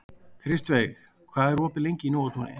Kristveig, hvað er opið lengi í Nóatúni?